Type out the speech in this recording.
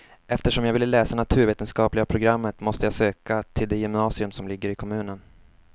Eftersom jag ville läsa naturvetenskapliga programmet måste jag söka till det gymnasium som ligger i kommunen.